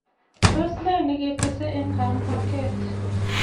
Tos nee ne kitestai eng kambaget?